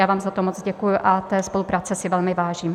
Já vám za to moc děkuji a té spolupráce si velmi vážím.